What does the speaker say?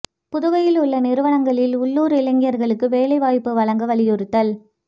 புதுவையில் உள்ள நிறுவனங்களில் உள்ளூா் இளைஞா்களுக்கு வேலைவாய்ப்பு வழங்க வலியுறுத்தல்